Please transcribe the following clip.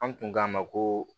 An tun k'a ma koo